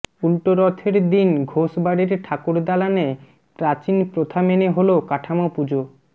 উল্টোরথের দিন ঘোষ বাড়ির ঠাকুর দালানে প্রাচীণ প্রথা মেনে হল কাঠামো পুজো